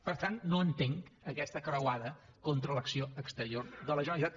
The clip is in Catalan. per tant no entenc aquesta croada contra l’acció exterior de la generalitat